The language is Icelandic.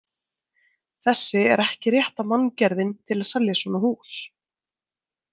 Þessi er ekki rétta manngerðin til að selja svona hús.